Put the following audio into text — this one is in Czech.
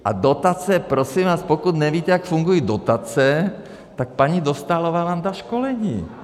A dotace, prosím vás, pokud nevíte, jak fungují dotace, tak paní Dostálová vám dá školení.